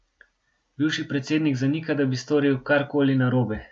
Bivši predsednik zanika, da bi storil karkoli narobe.